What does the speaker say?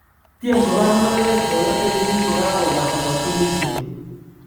Kotyem kobar mureret boyondenyin kokakobata katunisiet .